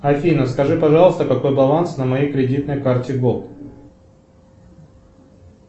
афина скажи пожалуйста какой баланс на моей кредитной карте голд